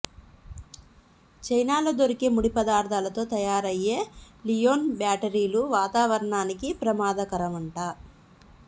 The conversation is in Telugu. చైనాలో దొరికే ముడి పదార్థాలతో తయారయ్యే లియోన్ బ్యాటరీలు వాతారవణానికి ప్రమాదకరంట